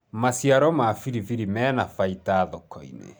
maciaro ma biribiri mena baida thoko-inĩ